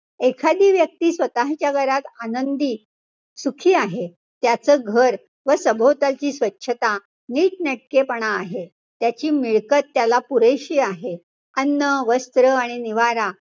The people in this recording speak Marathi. एखादी व्यक्ती स्वतःच्या घरात आनंदी, सुखी आहे. त्याच घर व सभोवतालची स्वच्छता, नीटनेटकेपणा आहे. त्याची मिळकत त्याला पुरेशी आहे. अन्न, वस्त्र आणि निवारा,